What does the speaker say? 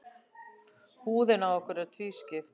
Húðin á okkur er tvískipt.